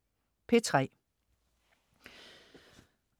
P3: